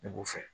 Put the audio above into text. Ne b'o fɛ